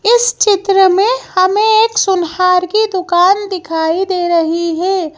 इस चित्र में हमें एक सुनहार की दुकान दिखाई दे रही है।